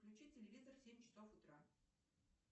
включи телевизор в семь часов утра